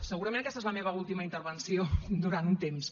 segurament aquesta és la meva última intervenció durant un temps